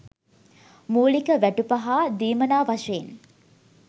මූලික වැටුප හා දීමනා වශයෙන්